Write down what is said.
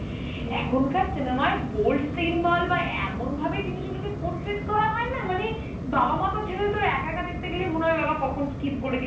এখনকার cinema য়ে bold scene বল বা এমন ভাবে জিনিস গুলোকে portrait করা হয় না মানে, বাবা মাতো ছেড়ে দে, তোর একা একা দেখতে গিয়েই মনে হয় বাবাঃ কখন Skip করেদি